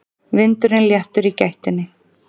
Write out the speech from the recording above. Vinurinn léttur í gættinni.